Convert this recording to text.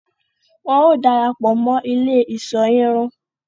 Wọn o darapọ mọ ilé iṣọ irun